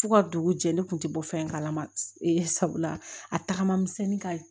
F'u ka dugu jɛ ne kun tɛ bɔ fɛn kalama sabula a tagama misɛnnin ka ɲi